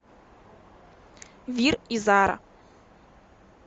вир и зара